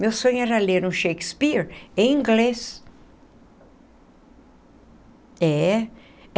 Meu sonho era ler um Shakespeare em inglês é.